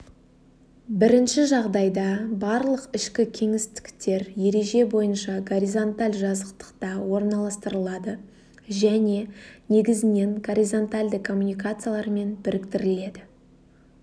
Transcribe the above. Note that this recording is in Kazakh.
бірінші жағдайда барлық ішкі кеңістіктер ереже бойынша горизонталь жазықтықта орналастырылады және негізінен горизонтальді коммуникациялармен біріктіріледі